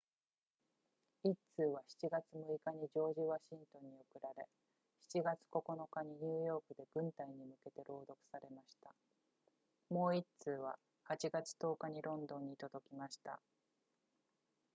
1通は7月6日にジョージワシントンに送られ7月9日にニューヨークで軍隊に向けて朗読されましたもう1通は8月10日にロンドンに届きました